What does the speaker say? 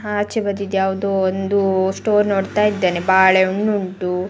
ಆಚೆ ಬದಿದ್ ಯಾವದೋ ಒಂದು ಸ್ಟೋರ್ ನೋಡತ್ತಾ ಇದ್ದೇನೆ ಬಾಳೆಹಣ್ಣು ಉಂಟು --